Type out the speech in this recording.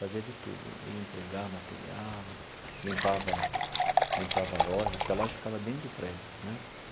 Fazia de tudo, ia entregar material, limpava limpava a loja, porque a loja ficava dentro do prédio, né?